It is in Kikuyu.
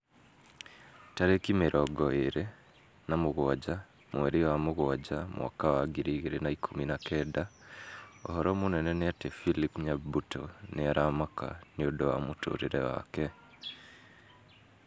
Tarĩki mĩrongo ĩrĩ na mũgwanja mweri wa mũgwanja mwaka wa ngiri igĩrĩ na ikũmi na kenda ũhoro mũnene nĩ ati philip nyabuto nĩ aramaka nĩũndũ wa mũtũrĩre wake